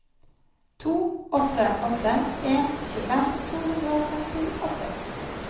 to åtte åtte en tjuefem to hundre og femtiåtte